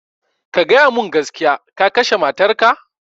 Ka gaya mun gaskiya, ka kashe matar ka